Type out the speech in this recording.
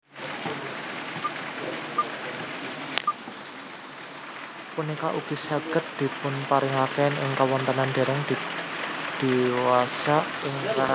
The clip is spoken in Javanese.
Punika ugi saged dipunpanggihaken ing kawontenan dèrèng diwasa ing rah